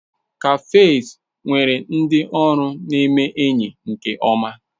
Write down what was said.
Cafes nwere ndị ọrụ neme enyi nke-oma.